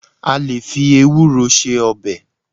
À lè fí Ewúro ṣe ọbẹ̀.